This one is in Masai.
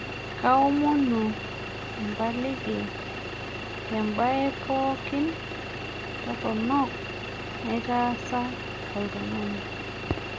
Kaomonu empaliki tembae pookin torronok naitaasa olntung'ani